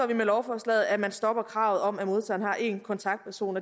vi med lovforslaget at man stopper kravet om at modtageren har en kontaktperson